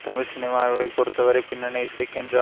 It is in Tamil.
தமிழ் சினிமாவை பொருத்தவரை பின்னணி இசைக்கின்று